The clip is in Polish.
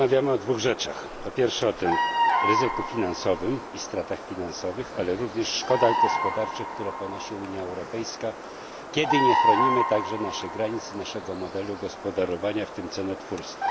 Rozmawiamy o dwóch rzeczach po pierwsze, o ryzyku finansowym i stratach finansowych, ale również szkodach gospodarczych, które ponosi Unia Europejska, kiedy nie chronimy naszych granic i naszego modelu gospodarowania, w tym cenotwórstwa.